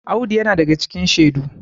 Audu yana daga cikin shedu